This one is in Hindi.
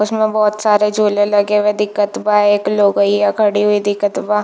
उसमे बहोत सारे झूले लगे हुए दिखत बा एक लोगईया खड़ी हुई दिखत बा--